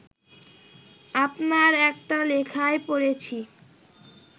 আপনার একটা লেখায় পড়েছি